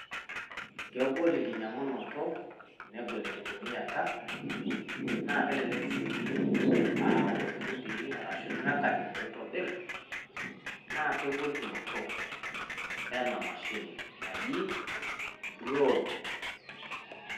kegol enkinyang'unoto negol enkitumiata na kelelek sii awore fundi arashu ilmechanic oitobirr nakegol tumoto enaa mashini naji drone.